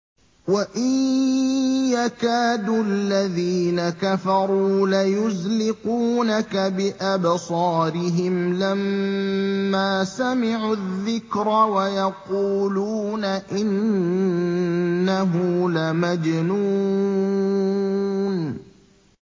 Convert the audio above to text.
وَإِن يَكَادُ الَّذِينَ كَفَرُوا لَيُزْلِقُونَكَ بِأَبْصَارِهِمْ لَمَّا سَمِعُوا الذِّكْرَ وَيَقُولُونَ إِنَّهُ لَمَجْنُونٌ